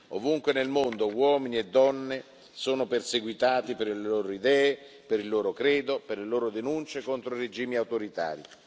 Ovunque nel mondo uomini e donne sono perseguitati per le loro idee, per il loro credo, per le loro denunce contro i regimi autoritari.